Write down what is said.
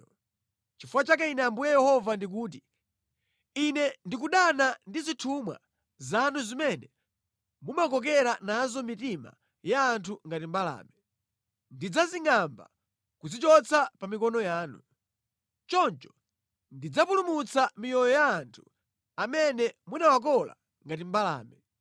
“ ‘Nʼchifukwa chake Ine Ambuye Yehova ndikuti: Ine ndikudana ndi zithumwa zanu zimene mumakokera nazo mitima ya anthu ngati mbalame. Ndidzazingʼamba kudzichotsa pa mikono yanu. Choncho ndidzapulumutsa miyoyo ya anthu amene munawakola ngati mbalame.